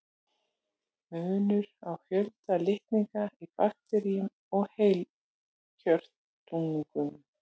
Munur á fjölda litninga í bakteríum og heilkjörnungum